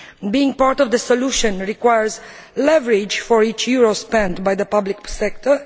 Being part of the solution requires leverage for each euro spent by the public sector.